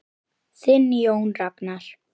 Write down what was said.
Þinn Jón Ragnar.